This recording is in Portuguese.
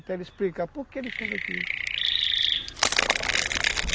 Até ele explicar por que ele fez aquilo.